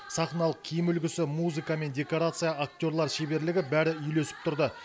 сахналық киім үлгісі музыка мен декорация актерлар шеберлігі бәрі үйлесіп тұрды